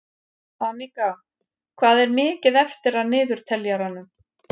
Anika, hvað er mikið eftir af niðurteljaranum?